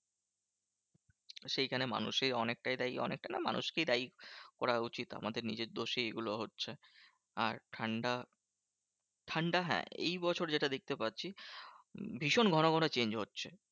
সেইখানে মানুষেই অনেকটাই দায়ী। অনেকটা না মানুকেই দায়ী করা উচিত। আমাদের নিজের দোষেই এগুলো হচ্ছে। আর ঠান্ডা ঠান্ডা হ্যাঁ এইবছর যেটা দেখতে পাচ্ছি ভীষণ ঘন ঘন change হচ্ছে।